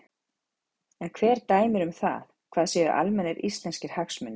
En hver dæmir um það hvað séu almennir íslenskir hagsmunir?